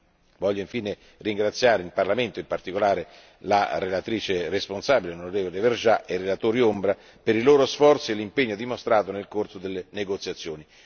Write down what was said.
Desidero infine ringraziare il Parlamento e in particolare la relatrice responsabile, onorevole Vergiat, e i relatori ombra per i loro sforzi e l'impegno dimostrato nel corso delle negoziazioni.